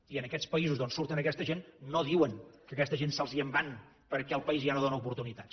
i en aquests paï sos d’on surten aquesta gent no diuen que aquesta gent se’ls en va perquè el país ja no dóna oportunitats